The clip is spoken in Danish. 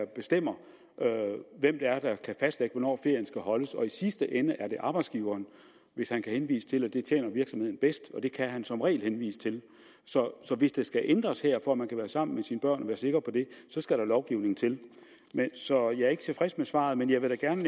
bestemmer hvem det er der kan fastlægge hvornår ferien skal holdes og i sidste ende er det arbejdsgiveren hvis han kan henvise til at det tjener virksomheden bedst og det kan han som regel henvise til så hvis der skal ændres her for at man kan være sammen med sine børn og være sikker på det så skal der lovgivning til så jeg er ikke tilfreds med svaret men jeg vil da gerne